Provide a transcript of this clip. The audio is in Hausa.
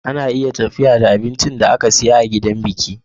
Ana iya tafiya da abincin da aka siya a gidan abinki